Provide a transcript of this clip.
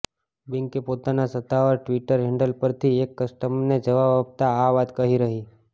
બેન્કે પોતાના સત્તાવાર ટ્વિટર હેન્ડલ પરથી એક કસ્ટમરને જવાબ આપતા આ વાત કહી રહી